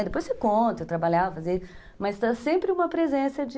Depois você conta, eu trabalhava, mas tem sempre uma presença de...